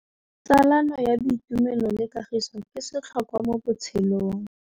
Tsalano ya boitumelo le kagiso ke setlhôkwa mo botshelong.